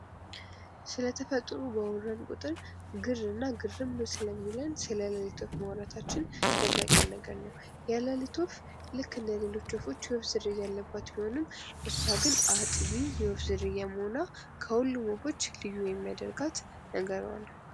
ስለ ተፈጥሮ ባወራን ቁጥር ግርና ግርም ስልሚለን ስለ ሌሊት ወፍ ማውራታችን የማይቀር ነው። የሌሊት ወፍ ልክ እንደ ሌሎች ወፎች የወፍ ዝርያ ያለባት ቢሆንም አጥቢ የወፍ ዝርያ መሆኗ ልዩ የሚያደርጋት ነገሯ ነው ።